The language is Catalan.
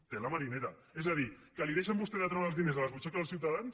tela marinera és a dir que li deixen a vostè treure els diners de la butxaca dels ciutadans